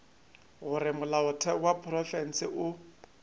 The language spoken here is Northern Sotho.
gore molaotheo wa profense o